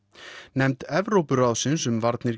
nefnd Evrópuráðsins um